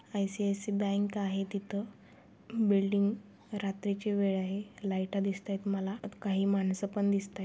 ICICI bank आहे. तिथ building रात्रिची वेळ आहे. लाइटा दिसतायत मला अन काही माणस पण दिसताय.